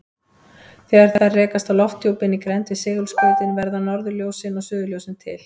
Þegar þær rekast á lofthjúpinn í grennd við segulskautin verða norðurljósin og suðurljósin til.